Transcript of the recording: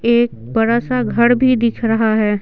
एक बड़ा सा घर भी दिख रहा है।